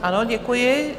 Ano, děkuji.